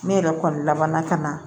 Ne yɛrɛ kɔni labanna ka na